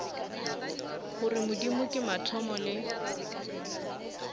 gore modimo ke mathomo le